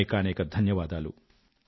అనేకానేక ధన్యవాదాలు